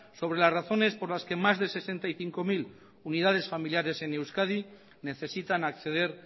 sobre las razones por las que más de sesenta y cinco mil unidades familiares en euskadi necesitan acceder